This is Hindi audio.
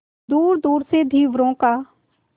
दूरदूर से धीवरों का